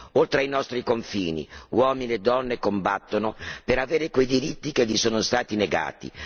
Oltre ai nostri confini uomini e donne combattono per avere quei diritti che sono stati loro negati.